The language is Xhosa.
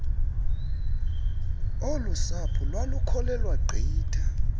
olusapho lwalukholelwa gqitha